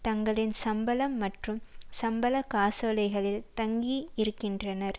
தங்களின் சம்பளம் மற்றும் சம்பள காசோலைகளில் தங்கி இருக்கின்றனர்